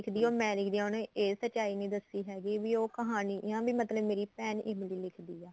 ਲਿੱਖਦੀ ਏ ਉਹ ਮੈਂ ਲਿੱਖਦੀ ਆ ਇਹ ਸਚਾਈ ਨਹੀਂ ਦਸੀ ਹੈਗੀ ਵੀ ਉਹ ਕਹਾਣੀ ਮਤਲਬ ਮੇਰੀ ਭੈਣ ਇਮਲੀ ਲਿੱਖਦੀ ਏ